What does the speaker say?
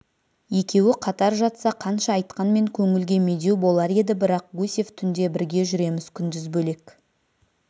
екеуі қатар жатса қанша айтқанмен көңілге медеу болар еді бірақ гусев түнде бірге жүреміз күндіз бөлек